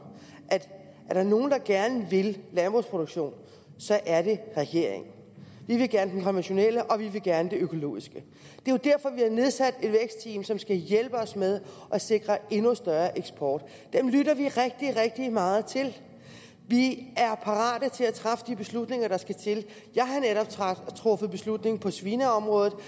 er der nogen der gerne vil landbrugsproduktion så er det regeringen vi vil gerne den konventionelle og vi vil gerne den økologiske det er jo derfor vi har nedsat et vækstteam som skal hjælpe os med at sikre endnu større eksport dem lytter vi rigtig rigtig meget til vi er parate til at træffe de beslutninger der skal til jeg har netop truffet beslutning på svineområdet og